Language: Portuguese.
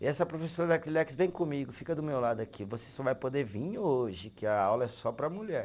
E essa professora da Acrilex, vem comigo, fica do meu lado aqui, você só vai poder vir hoje, que a aula é só para mulher.